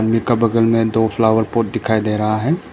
इनका बगल में दो फ्लावर पॉट दिखाई दे रहा है।